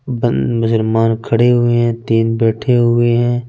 बन मुसलमान खड़े हुए हैं तीन बैठे हुए हैं।